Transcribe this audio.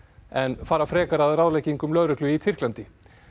en fara frekar að ráðleggingum lögreglu í Tyrklandi